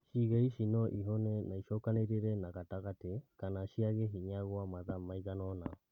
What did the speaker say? Ciĩga ici no ihome na icokanĩrĩre na gatagati kana ciage hinya gwa mathaa maigana ona